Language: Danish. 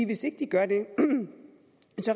hvis ikke de gør det